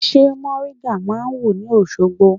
Ṣé mòríńgà máa wù ní Òṣogbo?